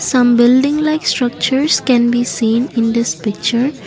some building like structures can be seen in this picture.